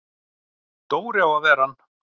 Dóri á að vera hann!